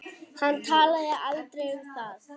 Hann talaði aldrei um það.